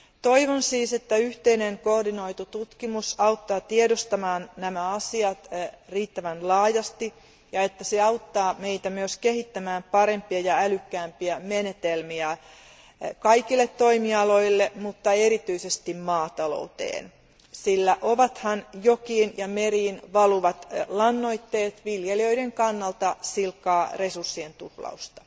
Toivon siis, että yhteinen koordinoitu tutkimus auttaa tiedostamaan nämä asiat riittävän laajasti, ja että se auttaa meitä myös kehittämään parempia ja älykkäämpiä menetelmiä kaikille toimialoille, mutta erityisesti maatalouteen, sillä ovathan jokiin ja meriin valuvat lannoitteet viljelijöiden kannalta silkkaa resurssien tuhlausta.